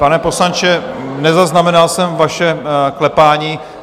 Pane poslanče, nezaznamenal jsem vaše klepání.